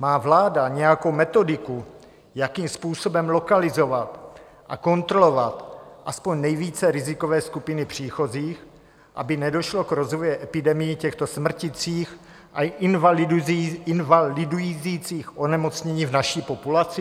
Má vláda nějakou metodiku, jakým způsobem lokalizovat a kontrolovat aspoň nejvíce rizikové skupiny příchozích, aby nedošlo k rozvoji epidemií těchto smrtících a invalidizujících onemocnění v naší populaci?